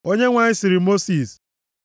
Onyenwe anyị sịrị Mosis,